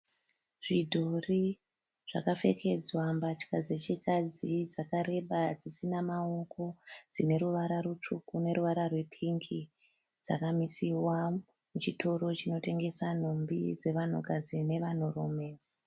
Zvidhori zvakapfekedzwa mbatya dzechikadzi dzakareba dzisina maoko dzine ruvara rutsvuku neruvara rwepingi dzakamisiwa, chitoro chinotengesa nhumbi dzevanhukadzi nevanhurume.